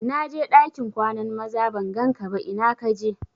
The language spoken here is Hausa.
Na je ɗakin kwanan maza ban gan ka ba ina ka je?